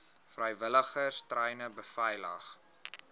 vrywilligers treine beveilig